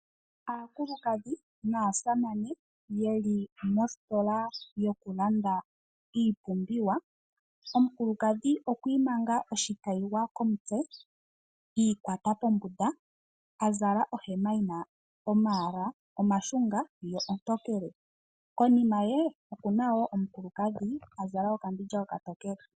Aakulukadhi naasamane ye li mositola yokulanda iipumbiwa. Omukulukadhi okwa imanga oshikayiwa komutse i ikwata pombunda a zala ohema yi na omayala omashunga yo ontokele. Konima ye oku na omukulukadhi a zala okambindja okatokele.